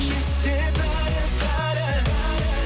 есте бәрі бәрі